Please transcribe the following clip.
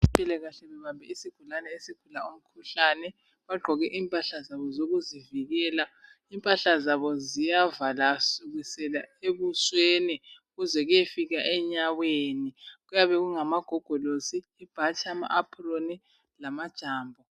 Abezempilakahle babambe isigulane abalungisayo balempahla zabo ezivala kusukela ebusweni kuyisafika enyaweni, kuyabe kungamagogolosi, ibhatshi, apron Kanye lamajambo.